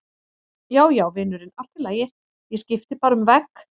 Já, já, vinurinn, allt í lagi, ég skipti bara um vegg.